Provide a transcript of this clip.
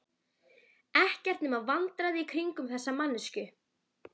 Ekkert nema vandræði í kringum þessa manneskju.